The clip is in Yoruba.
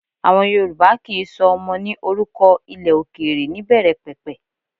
Àwọn Yorùbá kì í sọ ọmọ ní orúkọ ilẹ̀ òkèrè níbẹ̀rẹ̀pẹ̀pẹ̀